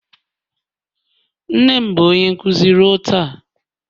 Nne m bụ onye nkuzi ruo taa